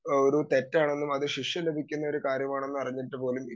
speaker 2 ഒരു തെറ്റാണെന്നും അത് ശിക്ഷ ലഭിക്കുന്ന ഒരു കാര്യമാണെന്നറിഞ്ഞിട്ടുപോലും